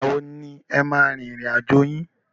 Ìgbà wo ni e máa a rin ìrìn àjò yín?